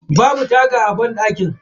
Babu taga a banɗakin.